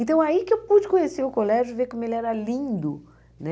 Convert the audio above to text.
Então, aí que eu pude conhecer o colégio e ver como ele era lindo, né?